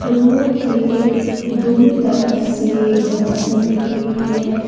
Road के दोनों तरफ से घास लगी हुई है।